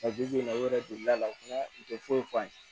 bi bi in na u yɛrɛ delila fana u tɛ foyi f'an ye